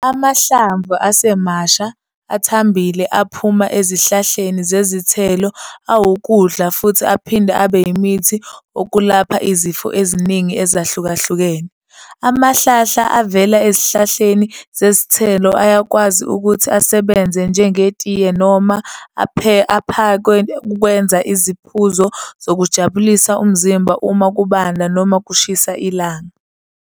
Amahlamvu asemasha, athambile aphuma ezihlahleni zezithelo awukudla futhi aphinde abe umithi wokulapha izifo eziningi ezahlukene. Amahlahla avela ezihlahleni zezithelo ayakwazi ukuthi asebenze njenge tiye noma aphekwe ukwenza isiphuzo sokujabulisa umzimba uma kubanda noma kushisa ilanga.